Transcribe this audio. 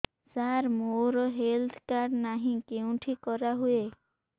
ସାର ମୋର health card ନାହିଁ କେଉଁଠି କରା ହୁଏ